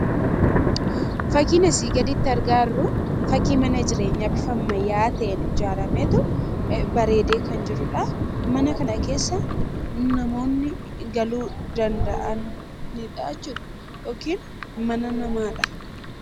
Fakkiin asii gaditti argaa jirru fakkii mana jireenyaa bifa ammayyaawaa ta'een ijaarametu bareedee kan jirudha. Mana kana keessa namoonni galuu danda'an yookiin mana namaadha.